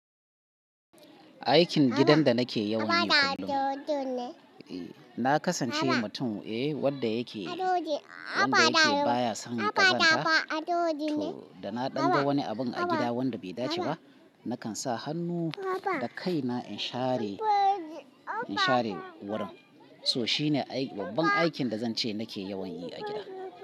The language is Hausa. Aikin gidan da nake yawan yi kullum, na kasance mutum eh wanda yake, wanda yake baya son ƙazanta. To da na ɗan ga wani abun a gida wanda bai dace ba, nakan sa hannu da kai na in share, in share wurin. So shine babban aikin da zan ce nake yawan yi a gida.